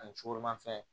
Ani joro ma fɛn